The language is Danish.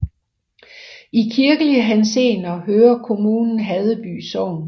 I kirkelig henseende hører kommunen Haddeby Sogn